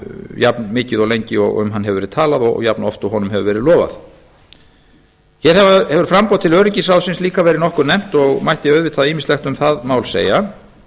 jafnmikið og lengi og um hann hefur verið talað og jafnoft og honum hefur verið lofað hér hefur framboð til öryggisráðsins líka verið nokkuð nefnt og mætti auðvitað ýmislegt um það mál segja